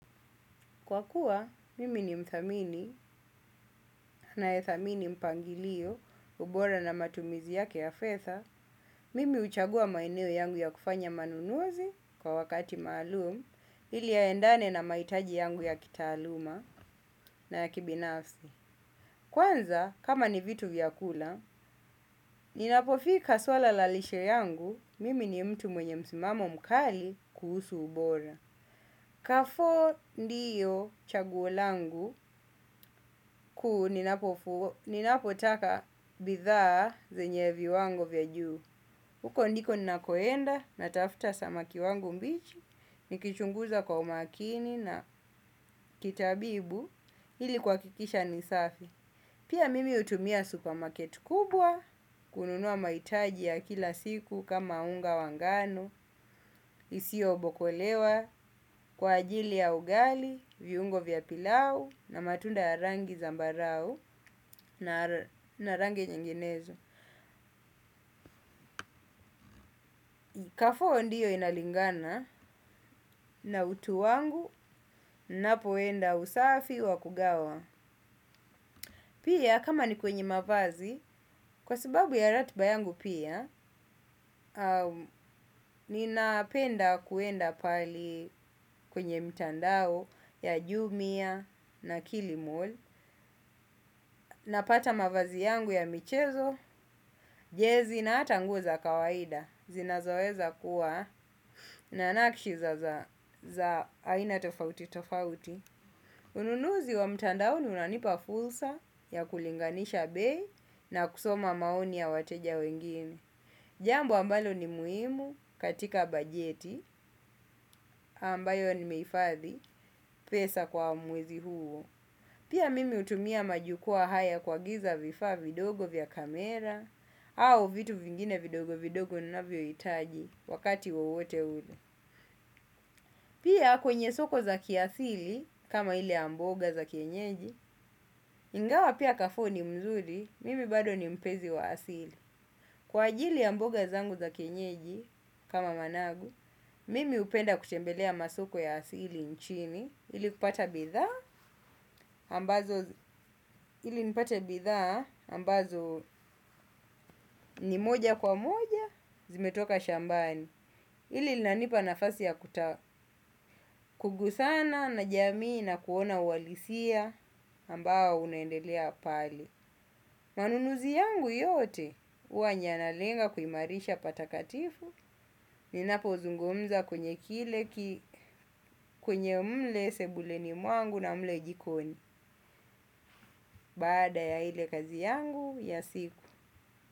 Kwa kuwa, mimi ni mthamini ninae thamini mpangilio bora na matumizi yake ya fedha, mimi huchagua maeneo yangu ya kufanya manunuzi kwa wakati maalum, ili yaendane na mahitaji yangu ya kitaaluma na ya kibinafsi. Kwanza, kama ni vitu vya kula, ninapofika suala la lishe yangu, mimi ni mtu mwenye msimamo mkali kuhusu ubora. Kafo ndiyo chaguo langu kuu ninapotaka bidhaa zenye viwango vya juu. Huko ndiko ninakoenda natafuta samaki wangu mbichi nikichunguza kwa umakini na kitabibu ili kuhakikisha ni safi. Pia mimi hutumia supermarket kubwa, kununua mahitaji ya kila siku kama unga wangano, isio obokolewa, kwa ajili ya ugali, viungo vya pilau, na matunda ya rangi zambarau, na rangi nyinginezo. Kafo ndiyo inalingana, na utu wangu, ninapoenda usafi wa kugawa. Pia, kama ni kwenye mavazi, kwa sababu ya ratiba yangu pia, ninapenda kuenda pahali kwenye mtandao ya jumia na kilimall napata mavazi yangu ya michezo, jezi na hata nguo za kawaida, zinazoweza kuwa na nakiza za aina tofauti tofauti. Ununuzi wa mtandaoni unanipa fursa ya kulinganisha bei na kusoma maoni ya wateja wengine. Jambo ambalo ni muhimu katika bajeti ambayo nimeifadhi pesa kwa mwezi huo. Pia mimi hutumia majukua haya kuagiza vifaa vidogo vya kamera au vitu vingine vidogo vidogo nina vyo hitaji wakati wowote ule. Pia kwenye soko za kiasili, kama ile ya mboga za kienyeji, ingawa pia kafo ni mzuri, mimi bado ni mpenzi wa asili. Kwa ajili ya mboga zangu za kienyeji, kama managu, mimi hupenda kutembelea masoko ya asili nchini, ili kupata bidhaa, ambazo ni moja kwa moja, zimetoka shambani. Hili linanipa nafasi ya kugusana na jamii na kuona ualisia ambao unaendelea pale. Manunuzi yangu yote huwa yanalenga kuimarisha patakatifu. Ninapo zungumza kwenye kile kwenye mle sebuleni mwangu na mle jikoni. Baada ya ile kazi yangu ya siku.